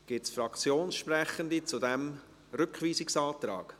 Gibt es Fraktionssprechende zu diesem Rückweisungsantrag?